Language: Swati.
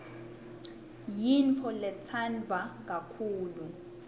yintfo letsandvwa kakhulu